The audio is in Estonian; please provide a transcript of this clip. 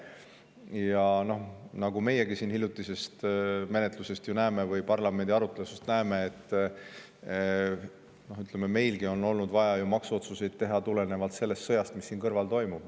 Ja nagu meiegi siinsest hiljutisest menetlusest või parlamendi arutelust näeme, on meilgi olnud ju vaja maksuotsuseid teha tulenevalt sellest sõjast, mis siin kõrval toimub.